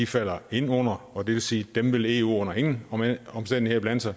falder ind under og det vil sige at dem vil eu under ingen omstændigheder blande sig